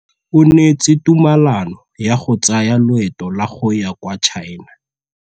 O neetswe tumalanô ya go tsaya loetô la go ya kwa China.